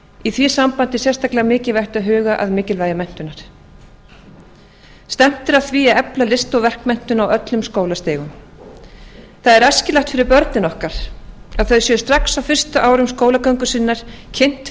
í því sambandi er sérstaklega mikilvægt að huga að mikilvægi menntunar stefnt er að því að efla list og verkmenntun á öllum skólastigum það er æskilegt fyrir börnin okkar að þau séu strax á fyrstu árum skólagöngu sinnar kynnt fyrir